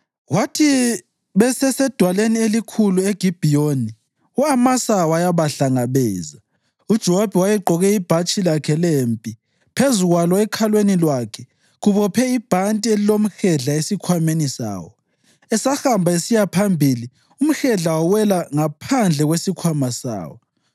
Kwathi besesedwaleni elikhulu eGibhiyoni, u-Amasa wayabahlangabeza. UJowabi wayegqoke ibhatshi lakhe lempi, phezu kwalo, ekhalweni lwakhe, kubophe ibhanti lilomhedla esikhwameni sawo. Esahamba esiya phambili, umhedla wawela ngaphandle kwesikhwama sawo.